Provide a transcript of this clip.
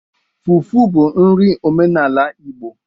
Fufu bụ nri omenala Igbo